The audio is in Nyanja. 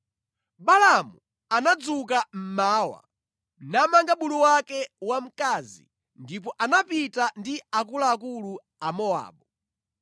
Balaamu anadzuka mmawa, namanga bulu wake wamkazi ndipo anapita ndi akuluakulu a Mowabu.